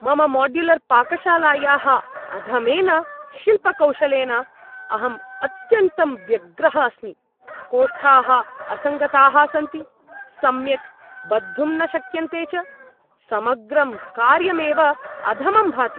मम माड्युलर्पाकशालायाः अधमेन शिल्पकौशलेन अहं अत्यन्तं व्यग्रः अस्मि, कोष्ठाः असङ्गताः सन्ति, सम्यक् बद्धुं न शक्यन्ते च, समग्रं कार्यमेव अधमं भाति।